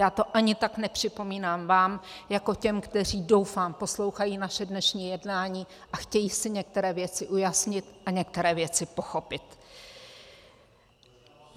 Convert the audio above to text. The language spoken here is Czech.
Já to ani tak nepřipomínám vám, jako těm, kteří, doufám, poslouchají naše dnešní jednání a chtějí si některé věci ujasnit a některé věci pochopit.